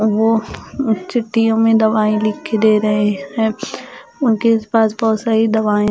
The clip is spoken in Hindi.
वो चिट्ठीयों में दवाई लिख के दे रहे हैं उनके पास बहुत सारी दवाएं--